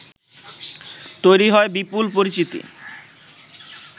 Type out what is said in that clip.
তৈরি হয় বিপুল পরিচিতি